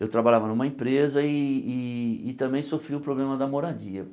Eu trabalhava numa empresa e e e também sofri o problema da moradia.